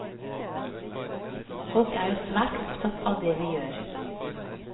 Folk er jo svært opptatt av det vi gjør.